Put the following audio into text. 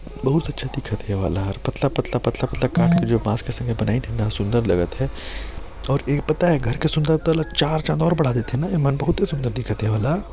बहुत अच्छा दिखत हे ये वाला ह और पतला-पतला काट के बॉस के जो बनाई है बहुत सुन्दर लगत हे अऊ एक पत्ता घर के सुंदरता ल चार चाँद और बड़ा देथे न एमन बहुते सुन्दर दिखत हे ए वाला--